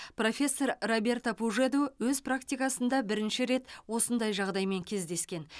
профессор роберто пужеду өз практикасында бірінші рет осындай жағдаймен кездескен